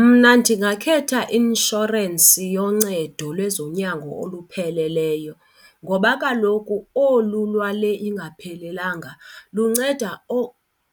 Mna ndingakhetha i-inshorensi yoncedo lwezonyango olupheleleyo ngoba kaloku olu lwale ingaphelelanga lunceda